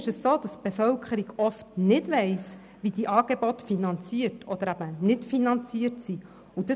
Die Bevölkerung weiss oft nicht, wie die Angebote finanziert oder eben nicht finanziert werden.